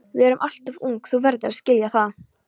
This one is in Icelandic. Við erum alltof ung, þú verður að skilja það.